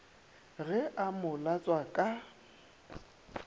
ge a mo latswa ka